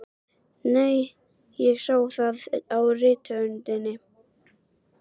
Nei, ég sá það á rithöndinni.